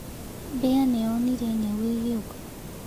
Mbea nĩ yonire nyaũ ĩgĩũka.